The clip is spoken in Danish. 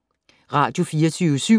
Radio24syv